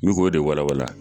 I v'o de walawala.